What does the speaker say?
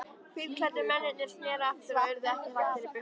Hvítklæddu mennirnir sneru aftur og urðu ekki hraktir burt.